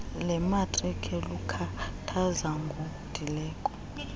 lemarike lukhathaza ngondileko